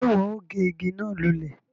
Ṣe iwọ o gé ìgi náà lulẹ?